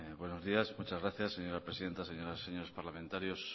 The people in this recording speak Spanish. buenos días muchas gracias señora presidenta señoras y señores parlamentarios